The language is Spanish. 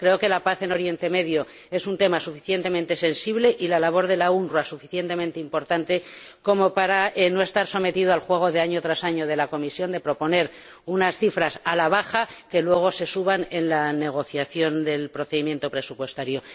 Creo que la paz en Oriente Medio es un tema suficientemente sensible y la labor de la UNRWA suficientemente importante como para no estar sometidas al juego, año tras año, de la Comisión de proponer unas cifras a la baja que luego se suben en la negociación del procedimiento presupuestario.